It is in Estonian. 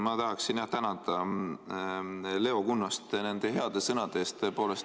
Ma tahaksin tänada Leo Kunnast nende heade sõnade eest!